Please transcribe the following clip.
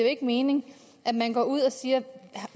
ikke mening at man går ud og siger